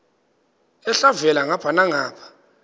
elhavela ngapha nangapha